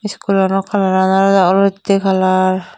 school ano colouran olodey olottey colour.